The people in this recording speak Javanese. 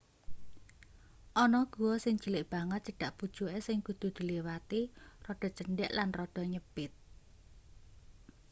ana guwa sing cilik banget cedhak pucuke sing kudu diliwati rada cendhek lan rada nyepit